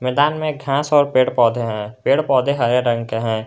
मैदान में एक घास और पेड़ पौधे हैं पेड़ पौधे हरे रंग के हैं।